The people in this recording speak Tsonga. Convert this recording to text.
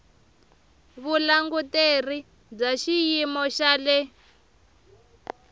vulanguteri bya xiyimo xa le